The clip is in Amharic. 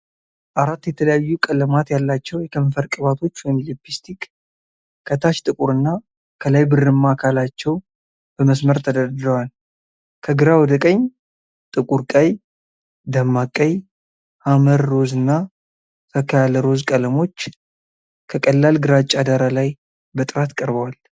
አራት የተለያዩ ቀለማት ያላቸው የከንፈር ቅባቶች (ሊፕስቲክ)፣ ከታች ጥቁርና ከላይ ብርማ አካላቸው በመስመር ተደርድረዋል። ከግራ ወደ ቀኝ ጥቁር ቀይ፣ ደማቅ ቀይ፣ ሐመር ሮዝ እና ፈካ ያለ ሮዝ ቀለሞች ከቀላል ግራጫ ዳራ ላይ በጥራት ቀርበዋል።